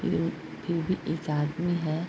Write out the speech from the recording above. फिर फिर भी एक आदमी है ।